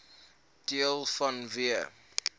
deels vanweë